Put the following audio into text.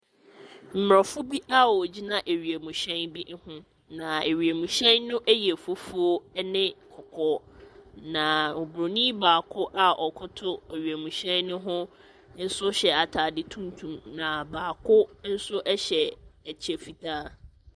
Aborɔfo bi a wɔgyina wiemhyɛn bi ho, na wiemhyɛn no yɛ fufuo ne kɔkɔɔ, na oburoni baako a ɔkoto wiemhyɛn no ho nso hyɛ atade tuntum, na baako nso hyɛ kyɛ fitaa.